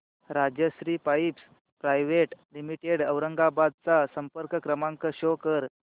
Rajshri pipes private limited Aurangabad चा संपर्क क्रमांक शो कर